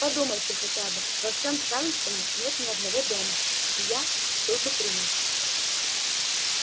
подумайте хотя бы во всём чарльстоне нет ни одного дома где я был бы принят